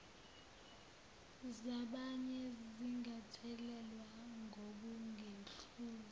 zabanye zingathelelwa ngokungekuhle